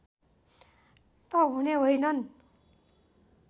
त हुने होइनन्